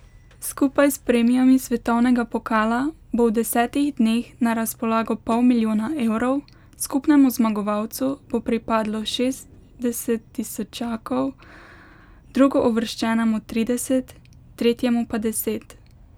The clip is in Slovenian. Skupaj s premijami svetovnega pokala bo v desetih dneh na razpolago pol milijona evrov, skupnemu zmagovalcu bo pripadlo šestdeset tisočakov, drugouvrščenemu trideset, tretjemu pa deset.